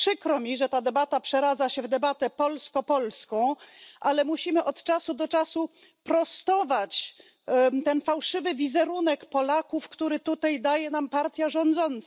Przykro mi, że ta debata przeradza się w debatę polsko polską, ale musimy od czasu do czasu prostować ten fałszywy wizerunek Polaków, który tutaj daje nam partia rządząca.